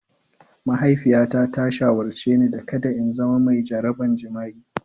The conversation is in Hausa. Mahaifiyata ta shawarce ni da kada in zama mai jaraban jima'i.